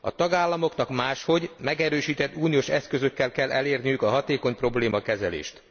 A tagállamoknak máshogy, megerősített uniós eszközökkel kell elérniük a hatékony problémakezelést.